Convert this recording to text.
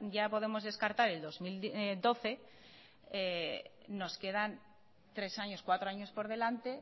ya podemos descartar el dos mil doce nos quedan tres años cuatro años por delante